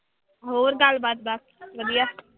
ਹੋਰ ਗੱਲਬਾਤ ਬਸ ਵਧੀਆ।